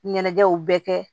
Ɲɛnajɛw bɛɛ kɛ